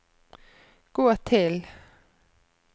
gå til